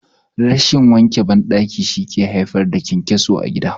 Rashin yawan wanke bayan gida shi yake haifar da ƘyanƘyaso a gida